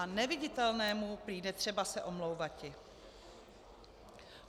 A neviditelnému prý netřeba se omlouvati.